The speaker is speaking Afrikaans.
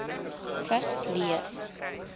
vigs leef